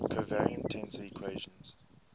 covariant tensor equations